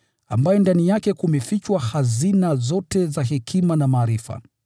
ambaye ndani yake kumefichwa hazina zote za hekima na maarifa.